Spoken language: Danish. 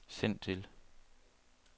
send til